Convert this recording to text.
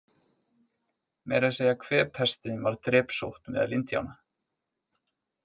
Meira að segja kvefpestin varð drepsótt meðal Indíána.